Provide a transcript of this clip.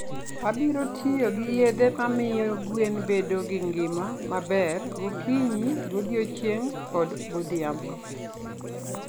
Abiro tiyo gi yedhe mamiyo gwen bedo gi ngima maber gokinyi, godiechieng', koda godhiambo.